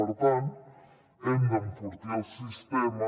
per tant hem d’enfortir el sistema